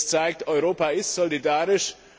Das zeigt, Europa ist solidarisch.